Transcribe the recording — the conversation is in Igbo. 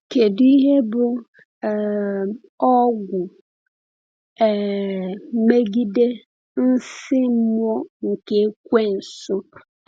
Kedu ihe bụ um ọgwụ um megide nsí mmụọ nke Ekweusu?